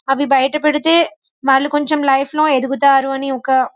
అవి బైట పడితే వాళ్లు లైఫ్ లో ఎదుగుతారు అని ఒక --